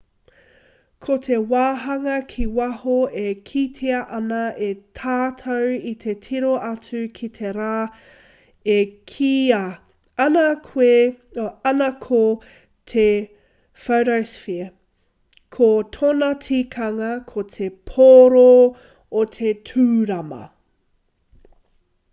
ko te wāhanga ki waho e kitea ana e tātou i te tiro atu ki te rā e kīia ana ko te photosphere ko tōna tikanga ko te pōro o te tūrama